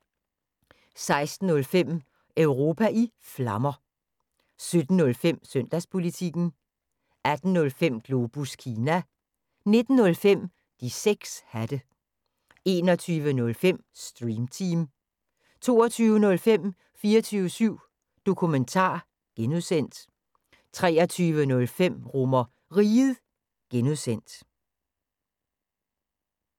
16:05: Europa i Flammer 17:05: Søndagspolitikken 18:05: Globus Kina 19:05: De 6 hatte 21:05: Stream Team 22:05: 24syv Dokumentar (G) 23:05: RomerRiget (G)